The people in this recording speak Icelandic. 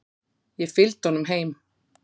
Ég fylgdi honum heim.